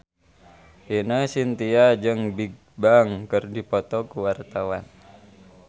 Ine Shintya jeung Bigbang keur dipoto ku wartawan